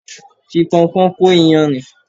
Fi Pọnpọ́n kó iyanrìn.